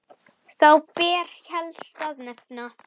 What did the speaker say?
Þá ber helst að nefna